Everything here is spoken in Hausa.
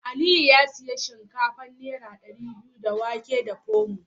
Aliyu ya sayi shinkafa naira dari biyu da wake da Pomo.